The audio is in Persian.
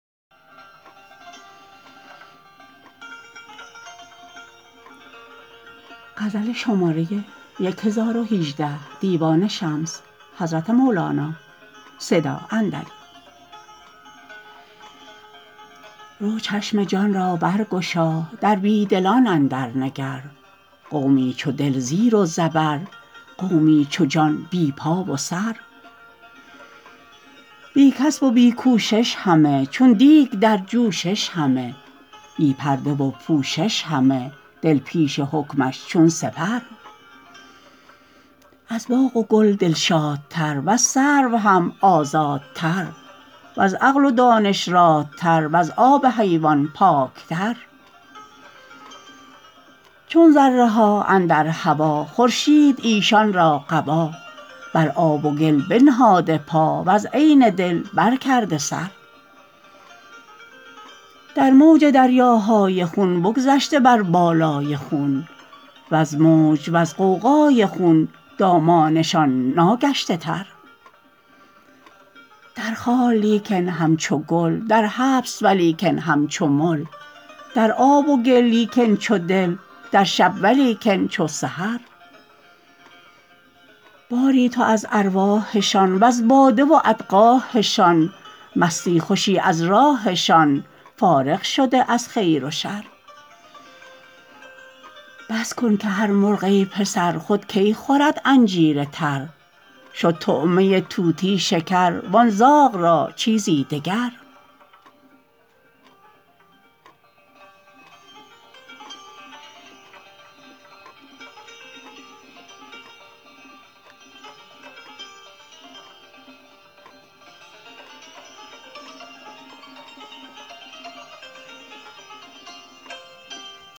رو چشم جان را برگشا در بی دلان اندرنگر قومی چو دل زیر و زبر قومی چو جان بی پا و سر بی کسب و بی کوشش همه چون دیگ در جوشش همه بی پرده و پوشش همه دل پیش حکمش چون سپر از باغ و گل دلشادتر وز سرو هم آزادتر وز عقل و دانش رادتر وز آب حیوان پاکتر چون ذره ها اندر هوا خورشید ایشان را قبا بر آب و گل بنهاده پا وز عین دل برکرده سر در موج دریاهای خون بگذشته بر بالای خون وز موج وز غوغای خون دامانشان ناگشته تر در خار لیکن همچو گل در حبس ولیکن همچو مل در آب و گل لیکن چو دل در شب ولیکن چو سحر باری تو از ارواحشان وز باده و اقداحشان مستی خوشی از راحشان فارغ شده از خیر و شر بس کن که هر مرغ ای پسر خود کی خورد انجیر تر شد طعمه طوطی شکر وان زاغ را چیزی دگر